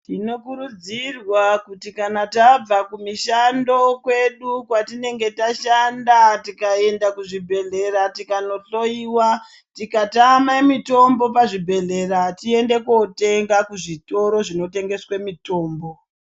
Tinokurudzirwa kuti kana tabva kumishando kwedu kwatinge tashanda tikaenda kuzvibhedhlera tikanohloiwa tikatama mitombo pazvibhedhlera toenda kotenga kuzvitoro zvinotengesa mitombo.